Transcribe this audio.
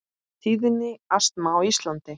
Tíðni astma á Íslandi